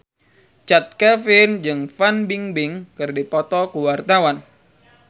Chand Kelvin jeung Fan Bingbing keur dipoto ku wartawan